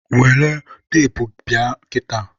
welụ teepu bịa kịta.